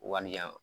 Walijan